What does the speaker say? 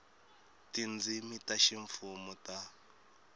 ka tindzimi ta ximfumo ta